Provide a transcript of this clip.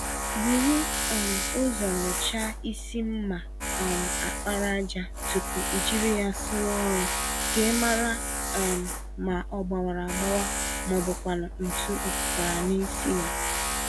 Búrú um ụzọ nyocha ísì mma um àkpàràjà tupu ijiri ya sụwa ọrụ, k'ịmara um ma ogbawara agbawa mọbụkwanụ̀ ntú ọ pụtara nisi yá.